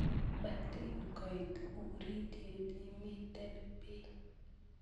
Motinkoit uritiet imiten bii